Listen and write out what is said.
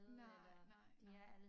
Nej nej nej